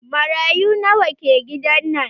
Marayu nawa ke gidan nan?